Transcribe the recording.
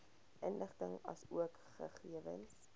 inligting asook gegewens